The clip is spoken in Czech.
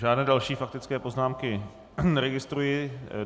Žádné další faktické poznámky neregistruji.